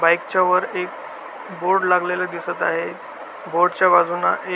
बाईकच्या वर एक बोर्ड लागलेला दिसत आहे. बोर्डच्या बाजुन एक --